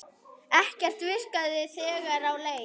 Ekkert virkaði þegar á leið.